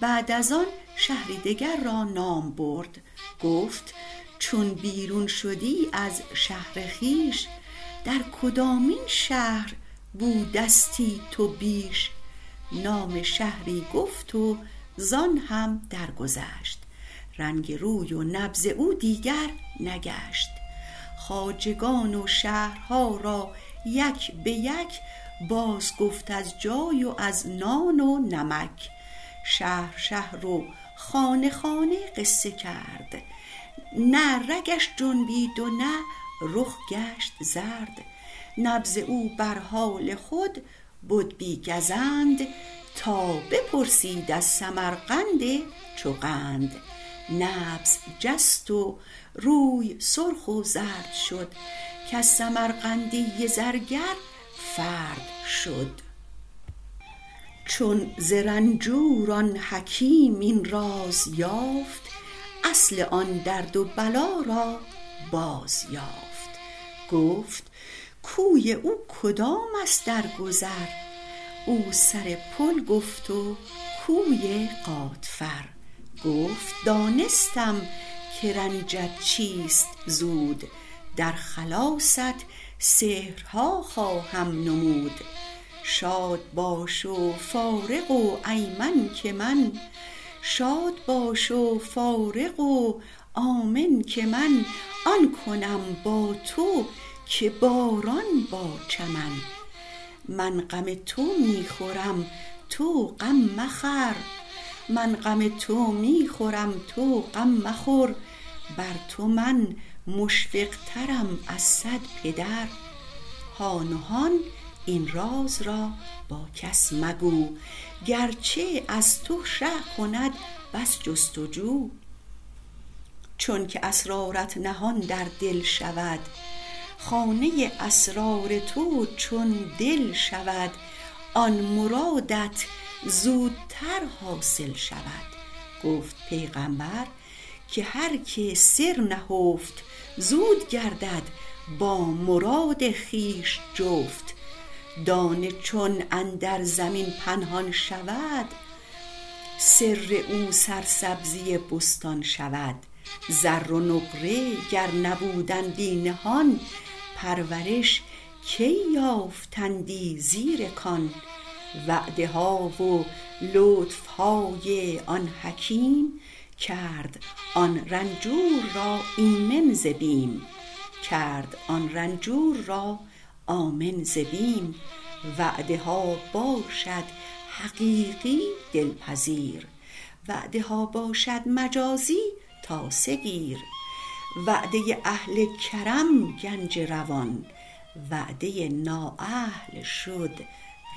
بعد از آن شهری دگر را نام برد گفت چون بیرون شدی از شهر خویش در کدامین شهر بودستی تو بیش نام شهری گفت و زان هم درگذشت رنگ روی و نبض او دیگر نگشت خواجگان و شهرها را یک بیک باز گفت از جای و از نان و نمک شهر شهر و خانه خانه قصه کرد نه رگش جنبید و نه رخ گشت زرد نبض او بر حال خود بد بی گزند تا بپرسید از سمرقند چو قند نبض جست و روی سرخ و زرد شد کز سمرقندی زرگر فرد شد چون ز رنجور آن حکیم این راز یافت اصل آن درد و بلا را باز یافت گفت کوی او کدام است در گذر او سر پل گفت و کوی غاتفر گفت دانستم که رنجت چیست زود در خلاصت سحرها خواهم نمود شاد باش و فارغ و آمن که من آن کنم با تو که باران با چمن من غم تو می خورم تو غم مخور بر تو من مشفق ترم از صد پدر هان و هان این راز را با کس مگو گرچه از تو شه کند بس جست و جو خانه اسرار تو چون دل شود آن مرادت زودتر حاصل شود گفت پیغامبر که هر که سر نهفت زود گردد با مراد خویش جفت دانه چون اندر زمین پنهان شود سر او سرسبزی بستان شود زر و نقره گر نبودندی نهان پرورش کی یافتندی زیر کان وعده ها و لطف های آن حکیم کرد آن رنجور را آمن ز بیم وعده ها باشد حقیقی دل پذیر وعده ها باشد مجازی تاسه گیر وعده اهل کرم گنج روان وعده نااهل شد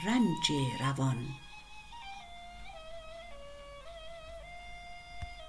رنج روان